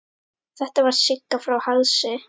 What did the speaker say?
Þetta var Sigga frá Hálsi.